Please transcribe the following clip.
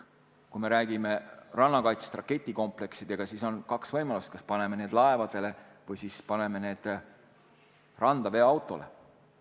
Kui me räägime rannakaitsest raketikompleksidega, siis on kaks võimalust: kas paneme need laevadele või paneme randa veoautole.